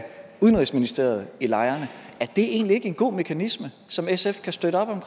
udenrigsministeriet i lejrene er det egentlig ikke en god mekanisme som sf kan støtte op om